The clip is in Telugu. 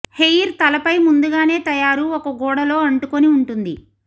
హెయిర్ తలపై ముందుగానే తయారు ఒక గూడ లో అంటుకొనిఉంటుంది